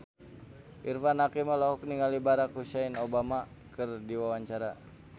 Irfan Hakim olohok ningali Barack Hussein Obama keur diwawancara